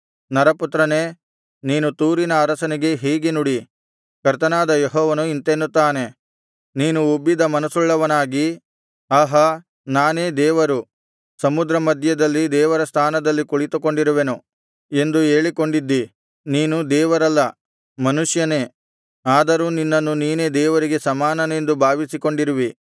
ನರಪುತ್ರನೇ ನೀನು ತೂರಿನ ಅರಸನಿಗೆ ಹೀಗೆ ನುಡಿ ಕರ್ತನಾದ ಯೆಹೋವನು ಇಂತೆನ್ನುತ್ತಾನೆ ನೀನು ಉಬ್ಬಿದ ಮನಸ್ಸುಳ್ಳವನಾಗಿ ಆಹಾ ನಾನೇ ದೇವರು ಸಮುದ್ರ ಮಧ್ಯದಲ್ಲಿ ದೇವರ ಸ್ಥಾನದಲ್ಲಿ ಕುಳಿತುಕೊಂಡಿರುವೆನು ಎಂದು ಹೇಳಿಕೊಂಡಿದ್ದೀ ನೀನು ದೇವರಲ್ಲ ಮನುಷ್ಯನೇ ಆದರೂ ನಿನ್ನನ್ನು ನೀನೇ ದೇವರಿಗೆ ಸಮಾನನೆಂದು ಭಾವಿಸಿಕೊಂಡಿರುವಿ